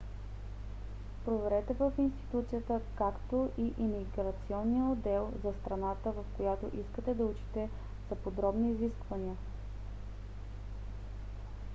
проверете в институцията както и имиграционния отдел за страната в която искате да учите за подробни изисквания